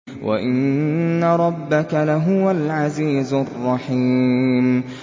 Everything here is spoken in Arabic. وَإِنَّ رَبَّكَ لَهُوَ الْعَزِيزُ الرَّحِيمُ